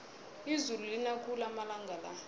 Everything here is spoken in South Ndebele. izulu lina khulu amalanga la